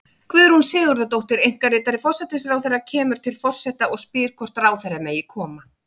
Guðrún Sigurðardóttir, einkaritari forsætisráðherra, kemur til forseta og spyr hvort ráðherra megi koma.